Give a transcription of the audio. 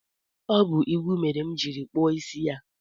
Ọ bụ igwu m nwere mere m jiri jee kpụọ isi ya